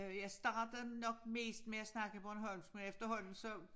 Jeg startede nok mest med at snakke bornholmsk men efterhånden så